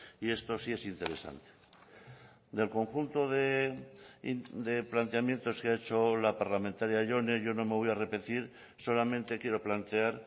y esto sí es interesante del conjunto de planteamientos que ha hecho la parlamentaria jone yo no me voy a repetir solamente quiero plantear